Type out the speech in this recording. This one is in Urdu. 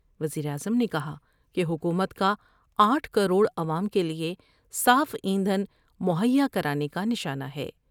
وزیراعظم نے کہا کہ حکومت کا آٹھ کروڑ عوام کے لئے صاف ایندھن مہیا کرانے کا نشانہ ہے ۔